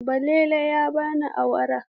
Baballe ya bani awara.